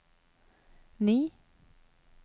ni